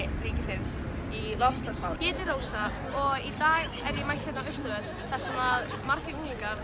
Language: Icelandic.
ríkisins í loftslagsmálum ég heiti Rósa og í dag er ég mætt hérna á Austurvöll þar sem margir unglingar